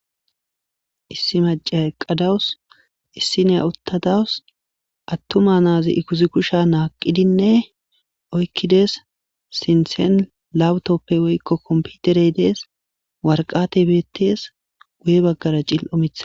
issi macey eqa dawus issiniya uttadawus attuma naazi ikuzi kusha naaqidinne oykkides sinthen lawutoppe woykko komputere dees warqate beettees guye baggara cill'o mitha